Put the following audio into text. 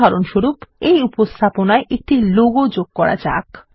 উদাহরণস্বরূপ এই উপস্থাপনায় একটি লোগো যোগ করা যাক